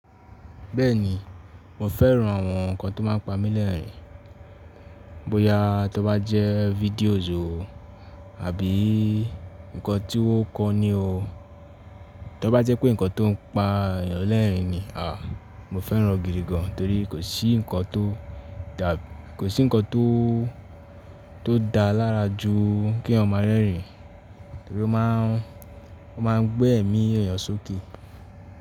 Bẹ́ẹ̀ni mo fẹ́ran àwọn nkan tó má n pa mí lẹ́rin. Bóyá tó bá jẹ́ fídíòbo àbí nkan tí wọn kọ́ ọ ní o, tó bá jẹ́ pé nkan tó n pa èèyàn lẹ́rin ni, mo fẹ́ran gidi gan torí kò sí nkan tó dà, kò sí nkan tó tó dà lára ju kí eyan ma rẹ́rin, torí ó ma n, ó ma n gbé ẹ̀mí èèyàn sókè.